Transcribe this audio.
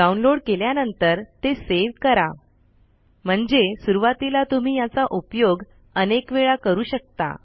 download केल्यानंतर ते save करा म्हणजे सुरवातीला तुम्ही याचा उपयोग अनेक वेळा करू शकता